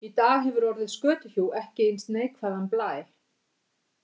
Í dag hefur orðið skötuhjú ekki eins neikvæðan blæ.